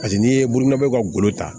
Paseke n'i ye bolonɔ ka gɔlo ta